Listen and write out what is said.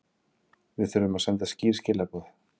Við þurfum að senda skýr skilaboð